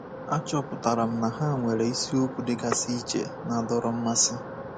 Achọpụtara m na ha nwere isiokwu dịgasị iche na-adọrọ mmasị.